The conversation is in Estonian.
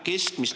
Teie aeg!